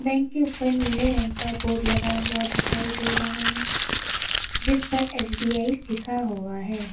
Bank के ऊपर नीले रंग का बोर्ड लगा हुआ दिखाई दे रहा है जिस पर एस_बी_आई लिखा हुआ है।